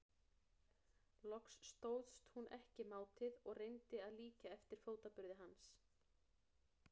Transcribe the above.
Loks stóðst hún ekki mátið og reyndi að líkja eftir fótaburði hans.